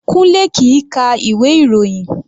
Kunle kìí ka ìwé ìròyìn.